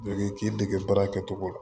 Dege k'i dege baara kɛcogo la